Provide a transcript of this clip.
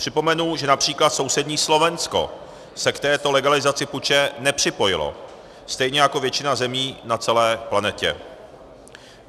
Připomenu, že například sousední Slovensko se k této legalizaci puče nepřipojilo, stejně jako většina zemí na celé planetě.